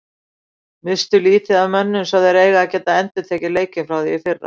Misstu lítið af mönnum svo þeir eiga að geta endurtekið leikinn frá í fyrra.